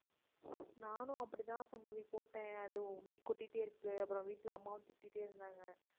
நானும் அப்படிதான் சங்கவி போட்டேன் அது முடி கொட்டிகிட்டே இருக்கு அப்புறம் வீட்ல அம்மாவும் திட்டிக்கிட்டே இருந்தாங்க